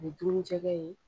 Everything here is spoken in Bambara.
O bɛ dun ni jɛkɛ ye.